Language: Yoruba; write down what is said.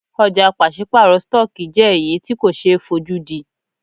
Ọ̀jà pàṣípàrọ̀ stọọkí jẹ́ èyí tí ko ṣe é fojúdí.